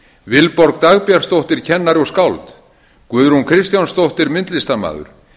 vilborg dagbjartsdóttir kennari og skáld guðrún kristjánsdóttir myndlistarmaður